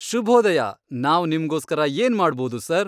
ಶುಭೋದಯ! ನಾವ್ ನಿಮ್ಗೋಸ್ಕರ ಏನು ಮಾಡ್ಬೋದು, ಸರ್?